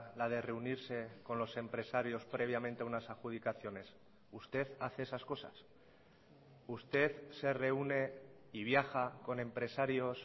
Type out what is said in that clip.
la de reunirse con los empresarios previamente a unas adjudicaciones usted hace esas cosas usted se reúne y viaja con empresarios